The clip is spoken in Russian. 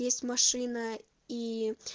есть машина ии